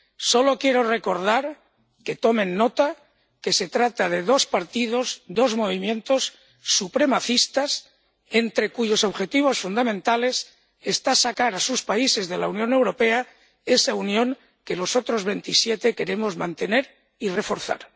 Solo quiero recordar que tomen nota de que se trata de dos partidos, dos movimientos supremacistas, entre cuyos objetivos fundamentales está sacar a sus países de la Unión Europea, esa unión que los otros veintisiete queremos mantener y reforzar.